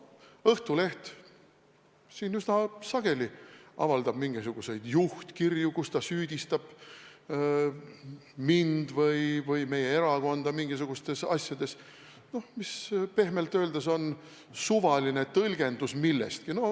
Õhtuleht üsna sageli avaldab juhtkirju, kus ta süüdistab mind või meie erakonda mingisugustes asjades, mille puhul pehmelt öeldes on tegu suvalise tõlgendusega millestki.